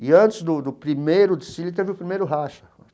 E antes do do primeiro desfile, teve o primeiro racha.